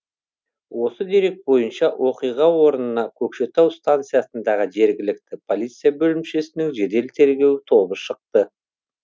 осы дерек бойынша оқиға орнына көкшетау станциясындағы жергілікті полиция бөлімшесінің жедел тергеу тобы шықты